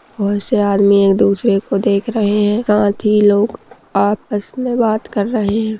बहुत से आदमी एक दुसरे को देख रहे है साथ ही लोग आपस में बात कर रहे है।